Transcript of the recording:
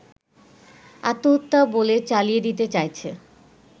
আত্মহত্যা বলে চালিয়ে দিতে চাইছে